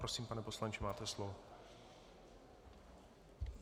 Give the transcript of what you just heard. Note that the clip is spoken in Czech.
Prosím, pane poslanče, máte slovo.